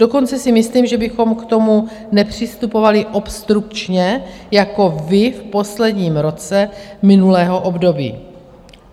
Dokonce si myslím, že bychom k tomu nepřistupovali obstrukčně jako vy v posledním roce minulého období.